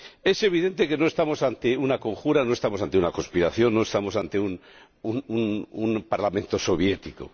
Es evidente que no estamos ante una conjura, no estamos ante una conspiración, no estamos ante un parlamento soviético.